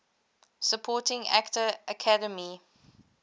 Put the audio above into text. supporting actor academy